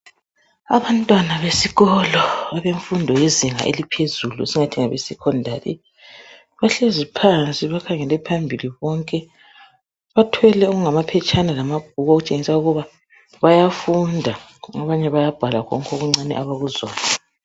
Abantwana besikolo abemfundo yezinga eliphezulu esingathi ngabe secondary bahlezi phansi bakhangele phambili bonke bathwele okungamaphetshana lamabhuku okutshengisa ukuba bayafunda okunye bayabhala khonokho okuncane abakuzwayo